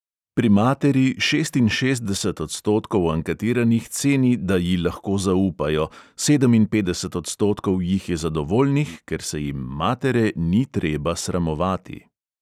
Pri materi šestinšestdeset odstotkov anketiranih ceni, da ji lahko zaupajo, sedeminpetdeset odstotkov jih je zadovoljnih, ker se jim matere ni treba sramovati.